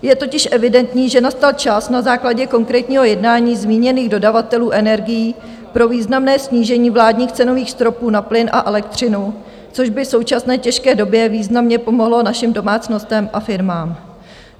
Je totiž evidentní, že nastal čas na základě konkrétního jednání zmíněných dodavatelů energií pro významné snížení vládních cenových stropů na plyn a elektřinu, což by v současné těžké době významně pomohlo našim domácnostem a firmám.